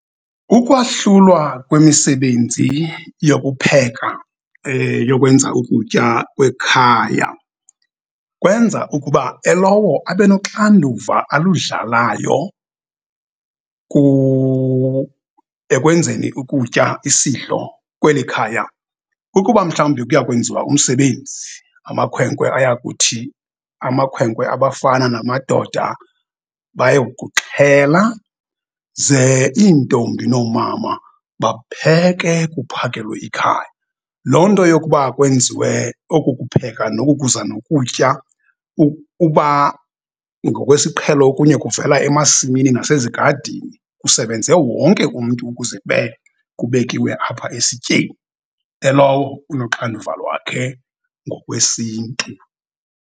Ukwahlulwa kwemisebenzi yokupheka yokwenza ukutya kwekhaya kwenza ukuba elowo abe noxanduva aludlalayo ekwenzeni ukutya isidlo kweli khaya. Ukuba mhlawumbi kuya kwenziwa umsebenzi amakhwenkwe ayakuthi amakhwenkwe, abafana namadoda baye kuxhela ze iintombi nomama bapheke kuphakelwe ikhaya. Loo nto yokuba kwenziwe oku kupheka nokukuza nokutya, uba ngokwesiqhelo okunye kuvela emasimini nasezigadini kusebenze wonke umntu ukuze kube kubekiwe nalapha esityeni. Elowo unoxanduva lwakhe ngokwesiNtu.